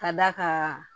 Ka d'a kan